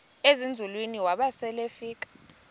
ezinzulwini waba selefika